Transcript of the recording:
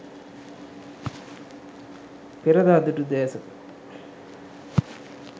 perada dutu desaka